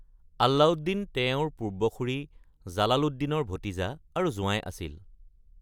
আলাউদ্দিন তেওঁৰ পূৰ্বসূৰী জালালুদ্দিনৰ ভতিজা আৰু জোঁৱাই আছিল।